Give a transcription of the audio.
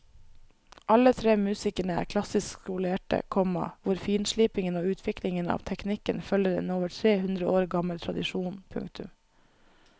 Alle tre musikerne er klassisk skolerte, komma hvor finslipingen og utviklingen av teknikken følger en over tre hundre år gammel tradisjon. punktum